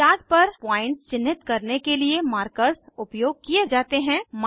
chart पर points चिन्हित करने के लिए मार्कर्स उपयोग किये जाते हैं